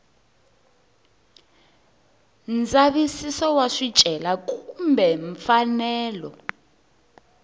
ndzavisiso wa swicelwa kumbe mfanelo